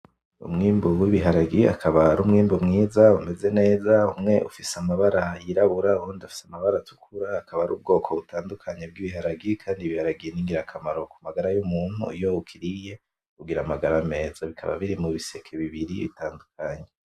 Umwimbu w'ibiharage akaba ari umwimbu mwiza umeze neza, umwe ufise amabara y'irabura uwundi ufise amabara atukura, akaba ari ubwoko bitandukanye bw'ibiharage, kandi ibiharage ni ingirakamaro ku magara y'umuntu, iyo ukiriye ugira amagara meza, bikaba biri mu biseke bibiri bitandukanye.